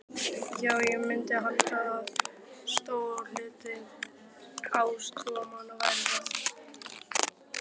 Já, ég myndi halda að stór hluti ásatrúarmanna væri það.